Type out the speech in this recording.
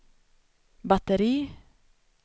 batteri